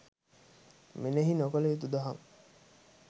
මෙනෙහි නොකළ යුතු දහම්